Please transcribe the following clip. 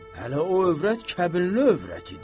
Hələ o övrət kəbinli övrət idi.